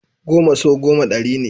Goma sau goma ɗari ne.